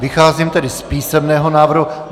Vycházím tedy z písemného návrhu.